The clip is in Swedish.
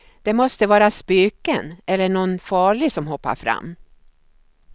Det måste vara spöken eller någon farlig som hoppar fram.